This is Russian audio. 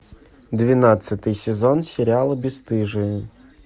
двенадцатый сезон сериала бесстыжие